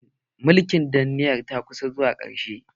Mulkin danniyar ta kusa zuwa ƙarshe.